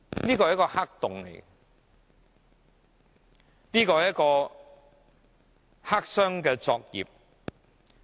這是一個黑洞，是黑箱作業。